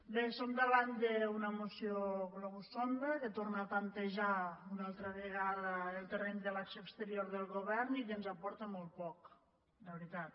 bé som davant d’una moció globus sonda que torna a temptejar una altra vegada el terreny de l’acció exterior del govern i que ens aporta molt poc de veritat